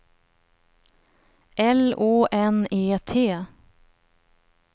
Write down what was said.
L Å N E T